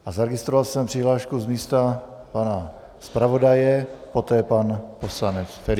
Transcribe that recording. A zaregistroval jsem přihlášku z místa pana zpravodaje, potom pan poslanec Ferjenčík.